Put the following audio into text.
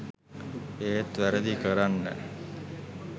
ඒත් වැරදි කරන්න